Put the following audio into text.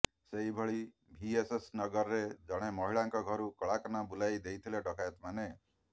ସେହିଭଳି ଭିଏସଏସନଗରରେ ଜଣେ ମହିଳାଙ୍କ ଘରୁ କଳାକନା ବୁଲାଇଦେଇଥିଲେ ଡକାୟତମାନେ